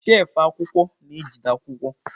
shelfụ akwụkwọ na-ejide akwụkwọ.